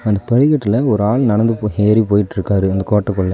அந்த படிகட்டுல ஒரு ஆள் நடந்து போ ஏறி போயிட்டுருக்காரு இந்த கோட்டக்குள்ள .